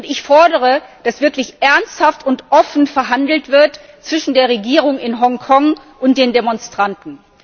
Ich fordere, dass wirklich ernsthaft und offen verhandelt wird zwischen der Regierung in Hongkong und den Demonstranten.